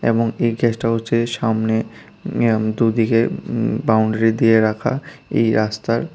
এবং এই কেসটা হচ্ছে সামনে ইয়াম দুদিকে উম বাউন্ডারি দিয়ে রাখা এই রাস্তার।